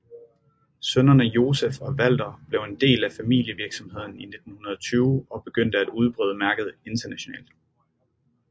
Sønnerne Josef og Walter blev en del af familievirksomheden i 1920 og begyndte at udbrede mærket internationalt